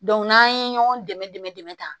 n'an ye ɲɔgɔn dɛmɛ dɛmɛ dɛmɛ ta